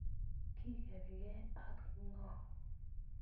Kikerke akngo?